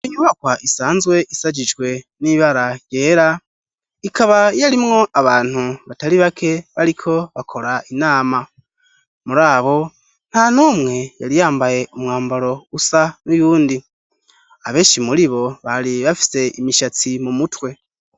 Iyi nyubakwa isanzwe ishajijwe n'ibara ryera ikaba yarimwo abantu batari bake bariko bakora inama muri abo nta numwe yari yambaye umwambaro usa n'uyundi abenshi muri bo bari bafise imishatsi mu mutwe.